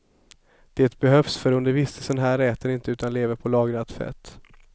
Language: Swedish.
Det behövs för under vistelsen här äter de inte utan lever på lagrat fett.